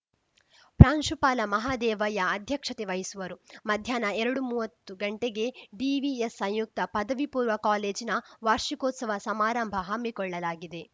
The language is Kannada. ಪ್ರಾಂಶುಪಾಲ ಮಹದೇವಯ್ಯ ಅಧ್ಯಕ್ಷತೆ ವಹಿಸುವರು ಮಧ್ಯಾಹ್ನ ಎರಡು ಮುವತ್ತು ಗಂಟೆಗೆ ಡಿವಿಎಸ್‌ ಸಂಯುಕ್ತ ಪದವಿಪೂರ್ವ ಕಾಲೇಜಿನ ವಾರ್ಷಿಕೋತ್ಸವ ಸಮಾರಂಭ ಹಮ್ಮಿಕೊಳ್ಳಲಾಗಿದೆ